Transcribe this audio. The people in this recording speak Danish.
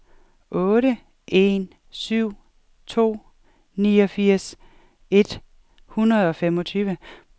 otte en syv to niogfirs et hundrede og femogtyve